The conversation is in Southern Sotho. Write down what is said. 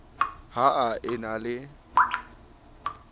ha a e na le